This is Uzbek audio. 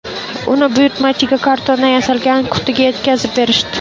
Uni buyurtmachiga kartondan yasalgan qutida yetkazib berishdi.